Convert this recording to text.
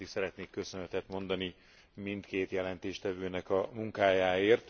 Elsőként is szeretnék köszönetet mondani mindkét jelentéstevőnek a munkájáért.